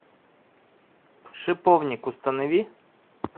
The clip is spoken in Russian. шиповник установи